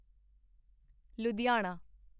Ludhiana